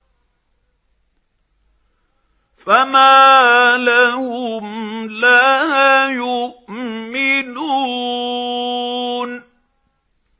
فَمَا لَهُمْ لَا يُؤْمِنُونَ